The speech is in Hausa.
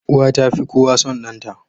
Uwa tafi kowa son danta